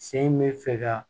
Sen bɛ fɛ ka